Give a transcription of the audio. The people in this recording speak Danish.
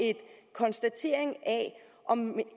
konstatering af om